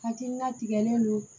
Hakilina tigɛlen don